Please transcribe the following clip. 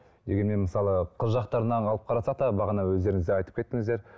дегенмен мысалы қыз жақтарынан алып қарасақ та бағана өздеріңіз де айтып кеттіңіздер